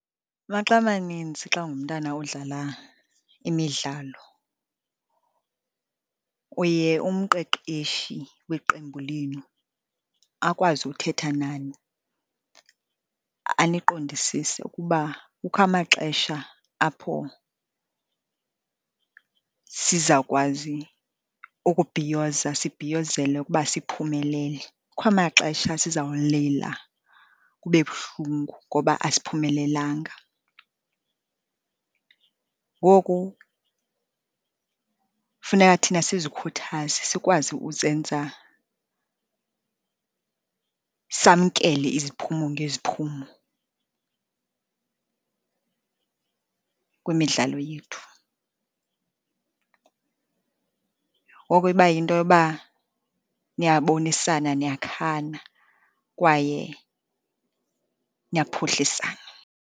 Maxa amaninzi xa ungumntana odlala imidlalo uye umqeqeshi weqembu lenu akwazi uthetha nani, aniqondisise ukuba kukho amaxesha apho sizawukwazi ukubhiyoza, sibhiyozele ukuba siphumelele. Kukho amaxesha sizawulila kube buhlungu ngoba asiphumelelanga. Ngoku funeka thina sizikhuthaze, sikwazi uzenza samkele iziphumo ngeziphumo kwimidlalo yethu. Ngoko iba yinto yoba niyabonisana, niyakhana kwaye niyaphuhlisana.